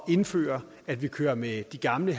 indføre at vi kører med de gamle